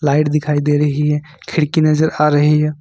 Light दिखाई दे रही है खिड़की नजर आ रही है।